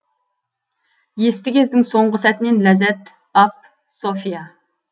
есті кездің соңғы сәтінен ләззат ап софья